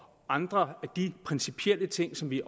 andre af de principielle ting som vi